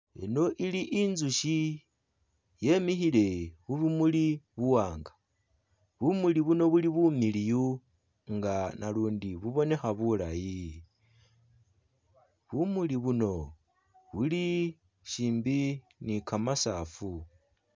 Eno ili inzushi yimikhile khubumuli buwanga bumuli buno buli bumiliyu nga nalundi bubonekha bulayi bumuli buno buli shimbi ni gamasaafu.